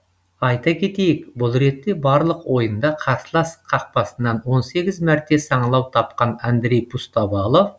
айта кетейік бұл ретте барлық ойында қарсылас қақпасынан он сегіз мәрте саңылау тапқан андрей пустовалов